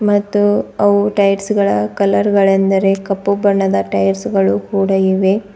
ಮತ್ತು ಅವು ಟೈಯರ್ಸ್ ಗಳ ಕಲರ್ ಗಳೆಂದರೆ ಕಪ್ಪು ಬಣ್ಣದ ಟೈಯರ್ಸ್ ಗಳು ಕೂಡ ಇವೆ.